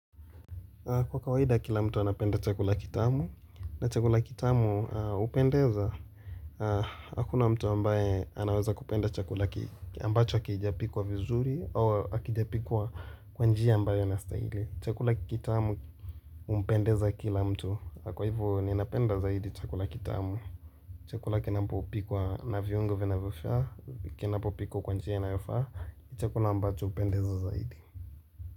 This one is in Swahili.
Kwa kawaida kila mtu anapenda chakula kitamu, na chakula kitamu hupendeza, hakuna mtu ambaye anaweza kupenda chakula ambacho hakijapikwa vizuri, au hakijapikwa kwa njia ambayo inastahili. Chakula kitamu humpendeza kila mtu, na kwa hivo ninapenda zaidi chakula kitamu. Chakula kinapopikwa na viungo vinavofaa, kinapopikwa kwa njia inayofaa, chakula ambacho hupendeza zaidi.